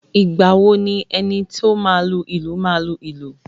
Ìgbà wo ni enito máa lu ìlù máa lu ú?